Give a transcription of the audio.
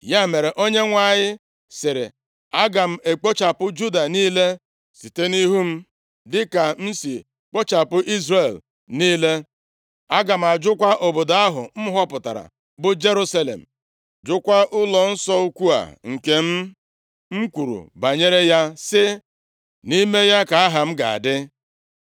Ya mere, Onyenwe anyị sịrị, “Aga m ekpochapụ Juda niile site nʼihu m, dịka m si kpochapụ Izrel niile. Aga m ajụkwa obodo ahụ m họpụtara, bụ Jerusalem, jụkwa ụlọnsọ ukwu a nke m kwuru banyere ya sị, ‘Nʼime ya ka Aha m ga-adị.’ ”